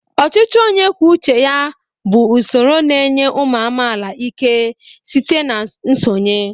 Ọchịchị onye kwuo uche ya bụ usoro na-enye ụmụ amaala ike site na nsonye.